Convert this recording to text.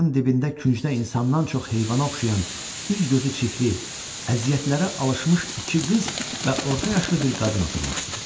Divarın dibində küncdə insandan çox heyvana oxşayan, üz-gözü çirkli, əziyyətlərə alışmış iki qız və orta yaşlı bir qadın oturmuşdu.